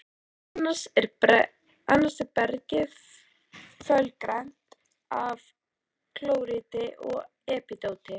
Annars er bergið fölgrænt af klóríti og epídóti.